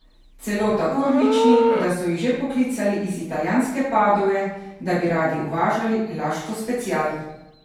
Celo tako odlični, da so jih že poklicali iz italijanske Padove, da bi radi uvažali Laško special.